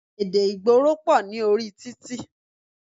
Èdè ìgboro pọ̀ ní orí títì.